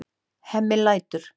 Hemmi lætur.